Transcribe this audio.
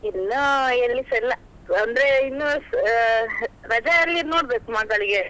ಇನ್ನು ಎಲ್ಲಿಸ ಇಲ್ಲ, ಅಂದ್ರೆ ಅಹ್ ಇನ್ನು ರಜೆಯಲ್ಲಿ ನೋಡ್ಬೇಕು ಮಗಳಿಗೆ.